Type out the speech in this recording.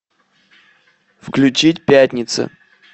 включить пятница